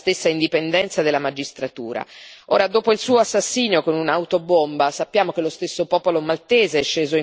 Ora, dopo il suo assassinio con un'autobomba, sappiamo che lo stesso popolo maltese è sceso in piazza per chiedere verità e giustizia.